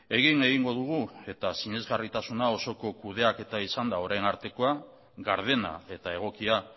egin egingo dugu eta sinesgarritasuna osoko kudeaketa izan da orain artekoa gardena eta egokia